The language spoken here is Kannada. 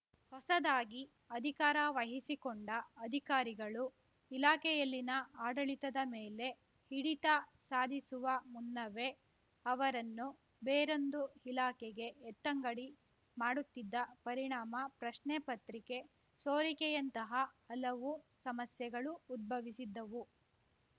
ಹೊಸದಾಗಿ ಅಧಿಕಾರ ವಹಿಸಿಕೊಂಡ ಅಧಿಕಾರಿಗಳು ಇಲಾಖೆಯಲ್ಲಿನ ಆಡಳಿತದ ಮೇಲೆ ಹಿಡಿತ ಸಾಧಿಸುವ ಮುನ್ನವೇ ಅವರನ್ನು ಬೇರೊಂದು ಇಲಾಖೆಗೆ ಎತ್ತಂಗಡಿ ಮಾಡುತ್ತಿದ್ದ ಪರಿಣಾಮ ಪ್ರಶ್ನೆ ಪತ್ರಿಕೆ ಸೋರಿಕೆಯಂತಹ ಹಲವು ಸಮಸ್ಯೆಗಳು ಉದ್ಭವಿಸಿದ್ದವು